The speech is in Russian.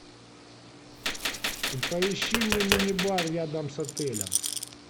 поищи мне мини бар рядом с отелем